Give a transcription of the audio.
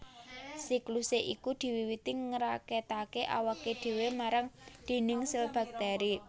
Siklusé iku diwiwiti ngraketaké awaké dhéwé marang dhindhing sèl baktèri